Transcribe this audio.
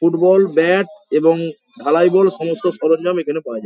Football bat এবং ঢালাই ball সমস্ত সরঞ্জাম এখানে পাওয়া যায় ।